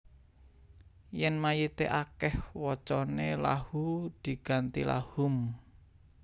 Yèn mayité akèh wacané Lahuu diganti Lahum